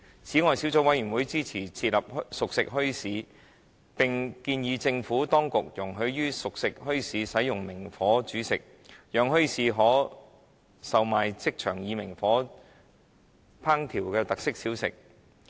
此外，小組委員會支持設立熟食墟市，並建議政府當局容許熟食墟市使用明火煮食，讓墟市可售賣即場以明火烹調的特色小食。